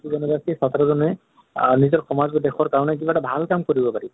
ক্তি জনে বা আ নিজৰ সমাজৰ বা দেশৰ কাৰণে কিবা এটাভাল কাম কৰিব পাৰিব